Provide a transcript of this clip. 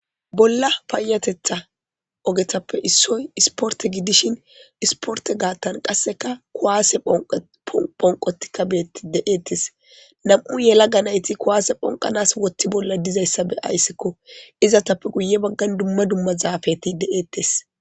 Bolla payateththappe issoy isportte giddishin isportte gaaththan qasekka kuwase ponqqo tohon ponqottikka betti de'etes nam'u yelaga naytti kuwase ponqqanas woththe bolla dizaysakka be'aysikko izetappe guuye baggan dumma dumma zaafetti de'ettes